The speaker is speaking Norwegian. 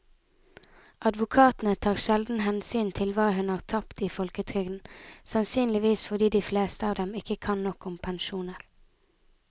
Advokatene tar sjelden hensyn til hva hun har tapt i folketrygden, sannsynligvis fordi de fleste av dem ikke kan nok om pensjoner.